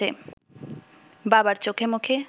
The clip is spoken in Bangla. বাবার চোখেমুখে